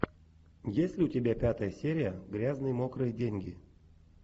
есть ли у тебя пятая серия грязные мокрые деньги